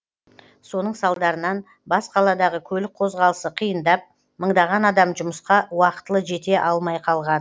соның салдарынан бас қаладағы көлік қозғалысы қиындап мыңдаған адам жұмысқа уақытылы жете алмай қалған